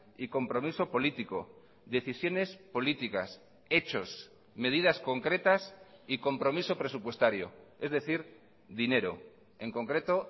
y compromiso político decisiones políticas hechos medidas concretas y compromiso presupuestario es decir dinero en concreto